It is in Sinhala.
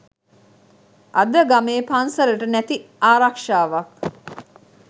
අද ගමේ පන්සලට නැති ආරක්ෂාවක්